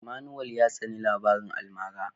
Emmanuel ya tsani labaran almara.